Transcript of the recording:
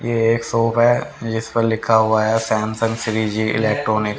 यह एक शॉप है जिस पर लिखा हुआ है सैमसंग श्रीजी इलेक्ट्रॉनिक ।